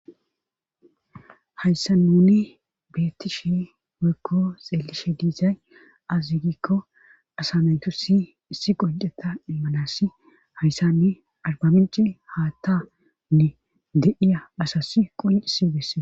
Hayssa nuni beettishi waykko xeelishe diizay azigikko asameytu si issi qonceta immanasi hayssanni argamenci haattanne deiya asas qoyisi bessee.